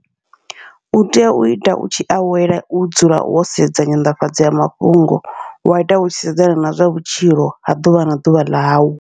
Utea uita u tshi awela u dzula wo sedza nyanḓafhadza ya mafhungo, wa ita utshi sedzana na zwa vhutshilo ha ḓuvha na ḓuvha ḽau.